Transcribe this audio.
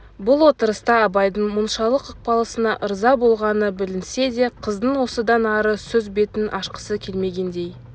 бұл отырыста абайдың мұншалық ықыласына ырза болғаны білінсе де қыздың осыдан ары сөз бетін ашқысы келмегендей